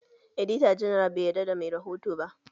Edita janar bai yarda da mai rihoto ba